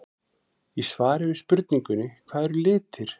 Í svari við spurningunni Hvað eru litir?